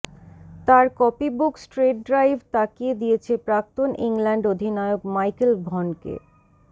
তার copybook straight drive তাকিয়ে দিয়েছে প্রাক্তন ইংল্যান্ড অধিনায়ক মাইকেল ভনকে